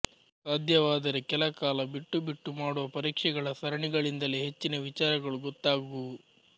ಸಾಧ್ಯವಾದರೆ ಕೆಲ ಕಾಲ ಬಿಟ್ಟು ಬಿಟ್ಟು ಮಾಡುವ ಪರೀಕ್ಷೆಗಳ ಸರಣಿಗಳಿಂದಲೇ ಹೆಚ್ಚಿನ ವಿಚಾರಗಳು ಗೊತ್ತಾಗುವುವು